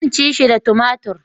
Zan ci shi da tumatir